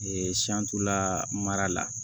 la mara la